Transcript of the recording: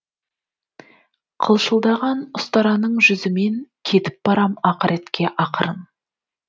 қылшылдаған ұстараның жүзіменкетіп барам ақыретке ақырын